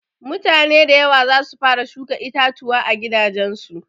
Mutane da yawa zasu fara shuka itatuwa a gidajen su.